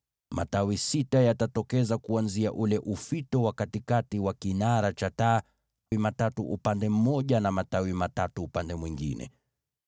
Matawi sita yatatokeza kuanzia ule ufito wa katikati wa kinara cha taa: matawi matatu upande mmoja na matatu upande mwingine.